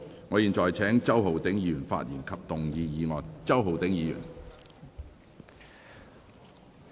我現在請周浩鼎議員發言及動議議案。